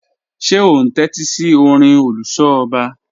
Ṣe o n tẹtisi ọ̀rìn oluso ọba?